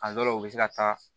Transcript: A dɔw la u bɛ se ka taa